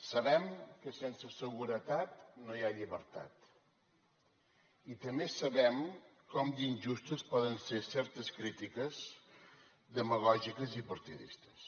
sabem que sense seguretat no hi ha llibertat i també sabem com d’injustes poden ser certes crítiques demagògiques i partidistes